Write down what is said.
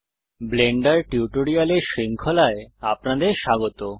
Blender টিউটোরিয়ালের শৃঙ্খলায় আপনাদের স্বাগত